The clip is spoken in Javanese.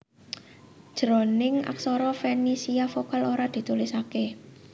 Jroning aksara Fenisia vokal ora ditulisaké